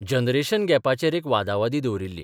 Generation गॅपाचेर एक बादावादी दवरिल्ली.